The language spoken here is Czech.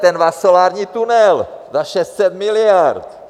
Ten váš solární tunel za 600 miliard.